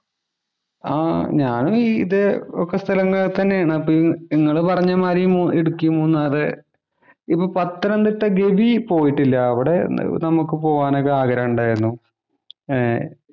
ആ ഞാനും ഇതേ ഒക്കെ സ്ഥലങ്ങൾ തന്നെയാണ്. നിങ്ങള് പറഞ്ഞമാതിരി ഇടുക്കി, മൂന്നാറ്. ഇപ്പോ പത്തനംതിട്ട ഗവിയില്‍ പോയിട്ടില്ല. അവിടെ പോകാൻ ഒക്കെ നമുക്ക് ഒക്കെ ആഗ്രഹമുണ്ടായിരുന്നു. ഏർ